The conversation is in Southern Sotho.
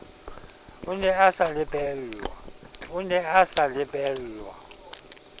a ne a sa lebellwa